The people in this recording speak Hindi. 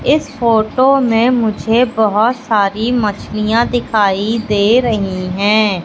इस फोटो में मुझे बहोत सारी मछलियां दिखाई दे रहीं हैं।